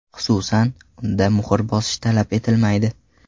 Xususan, unda muhr bosish talab etilmaydi.